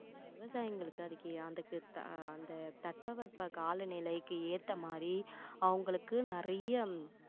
விவசாயிங்களுக்கு அதுக்கு அதுக்~ அந்த தட்ப வெட்ப கால நிலைக்கு ஏத்த மாதிரி அவங்களுக்கு நிறைய